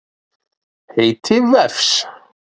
Heiti vefs.